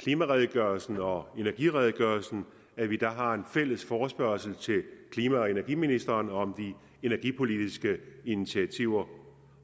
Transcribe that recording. klimaredegørelsen og energiredegørelsen at vi har en fælles forespørgsel til klima og energiministeren om de energipolitiske initiativer